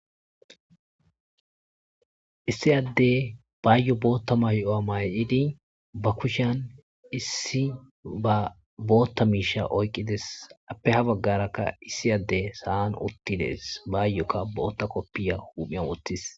issi adde baayo bootta mayo'a may'idi ba kushan issi ba bootta miisha oyqqides appe ha baggarakka issiyadde sa'an uttides baayoka bootta koppiya huumiyan woottis